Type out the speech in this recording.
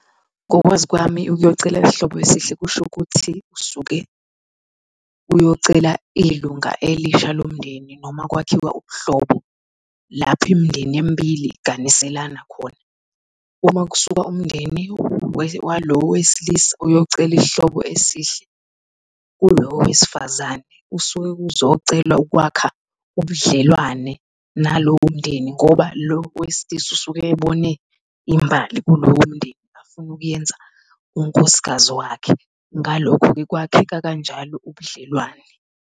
Ngokwazi kwami, ukuyocela isihlobo esihle kushukuthi usuke uyocela ilunga elisha lomndeni noma kwakhiwa ubuhlobo lapho imindeni emibili iganiselana khona. Uma kusuka umndeni walo wesilisa uyocela isihlobo esihle kulo wesifazane usuke kuzocelwa ukwakha ubudlelwane nalowo mndeni ngoba lo wesilisa usuke ebone imbali kulowo mndeni afuna ukuyenza unkosikazi wakhe. Ngalokho-ke kwakheka kanjalo ubudlelwane.